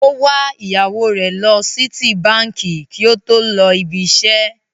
Ó wa ìyàwó rẹ̀ lọ Sítíbaǹkì kí ó tó lọ ibi-iṣẹ́.